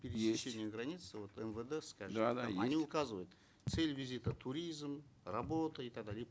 есть границы вот мвд скажем да да они указывают цель визита туризм работа и так далее и